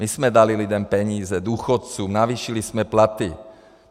My jsme dali lidem peníze, důchodcům, navýšili jsme platy.